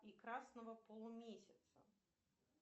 и красного полумесяца